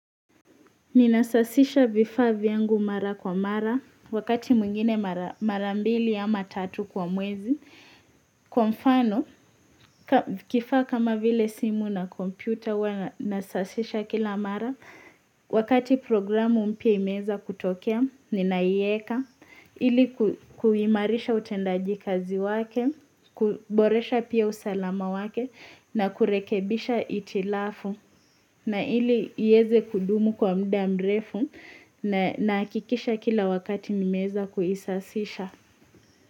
Ninasafisha vifaa vyangu mara kwa mara, wakati mwingine mara mbili ama tatu kwa mwezi. Kwa mfano, kifaa kama vile simu na kompyuta huwa nasafisha kila mara. Wakati programu mpya imeweza kutokea, ninaiweka. Ili kuimarisha utendaji kazi wake, kuboresha pia usalama wake, na kurekebisha itilafu. Na ili iweze kudumu kwa mda mrefu na nahakikisha kila wakati nimeweza kuisafisha.